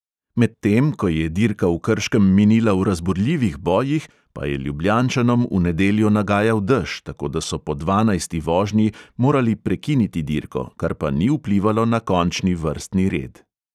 Medtem ko je dirka v krškem minila v razburljivih bojih, pa je ljubljančanom v nedeljo nagajal dež, tako da so po dvanajsti vožnji morali prekiniti dirko, kar pa ni vplivalo na končni vrstni red.